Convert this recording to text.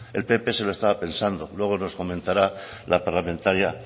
el pp se lo estaba pensando luego nos comentara la parlamentaria